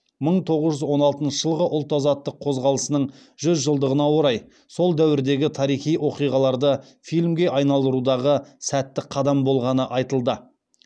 мың тоғыз жүз он алтыншы жылғы ұлт азаттық қозғалысының жүз жылдығына орай сол дәуірдегі тарихи оқиғаларды фильмге айналдырудағы сәтті қадам болғаны айтылды